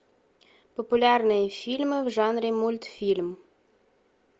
популярные фильмы в жанре мультфильм